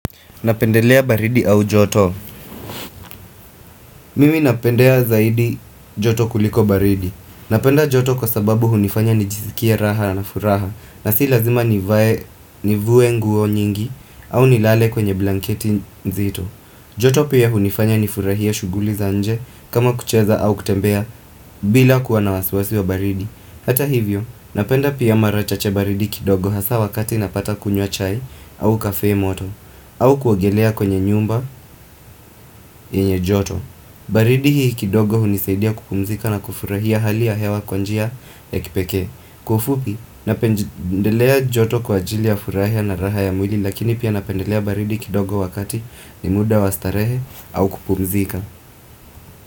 Napendelea baridi au joto. Mimi napendea zaidi joto kuliko baridi. Napenda joto kwa sababu hunifanya nijisikie raha na furaha na si lazima nivue nguo nyingi au nilale kwenye blanketi nzito. Joto pia hunifanya nifurahie shughuli za nje kama kucheza au kutembea bila kuwana wasiwasi wa baridi. Hata hivyo, napenda pia mara chache baridi kidogo hasa wakati napata kunywa chai au kafe moto au kuogelea kwenye nyumba yenye joto baridi hii kidogo hunisaidia kupumzika na kufurahia hali ya hewa kwa njia ya kipekee Kwa ufupi, napendelea joto kwa ajili ya furahia na raha ya mwili Lakini pia napendelea baridi kidogo wakati ni muda wa starehe au kupumzika.